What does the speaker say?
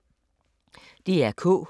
DR K